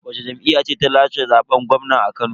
Wacce jam'iyya ce ta lashe zaben gwamna a Kano?